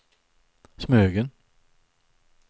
Smögen